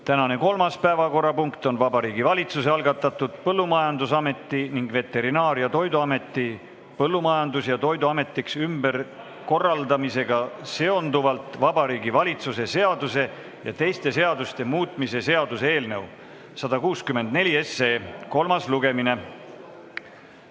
Tänane kolmas päevakorrapunkt on Vabariigi Valitsuse algatatud Põllumajandusameti ning Veterinaar- ja Toiduameti Põllumajandus- ja Toiduametiks ümberkorraldamisega seonduvalt Vabariigi Valitsuse seaduse ja teiste seaduste muutmise seaduse eelnõu 164 kolmas lugemine.